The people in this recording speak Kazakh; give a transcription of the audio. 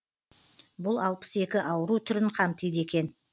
бұл алпыс екі ауру түрін қамтиды екен